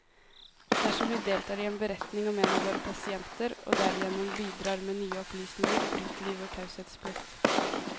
Dersom vi deltar i en beretning om en av våre pasienter, og derigjennom bidrar med nye opplysninger, bryter vi vår taushetsplikt.